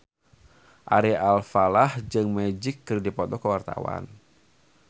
Ari Alfalah jeung Magic keur dipoto ku wartawan